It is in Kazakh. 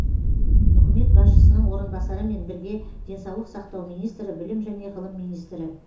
үкімет басшысының орынбасарымен бірге денсаулық сақтау министрі білім және ғылым министрі